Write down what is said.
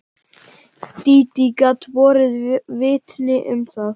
Dídí gat borið vitni um það.